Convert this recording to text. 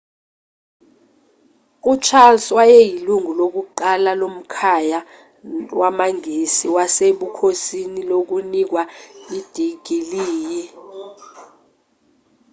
ucharles wayeyilungu lokuqala lomkhaya wamangisi wasebukhosini lokunikwa idigiliyi